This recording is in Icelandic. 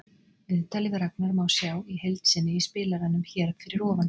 Viðtalið við Ragnar má sjá í heild sinni í spilaranum hér fyrir ofan.